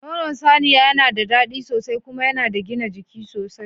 Nono saniya yana da daɗi sosai kuma yana da gina jiki sosai.